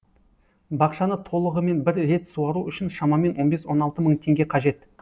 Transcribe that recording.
бақшаны толығымен бір рет суару үшін шамамен он бес он алты мың теңге қажет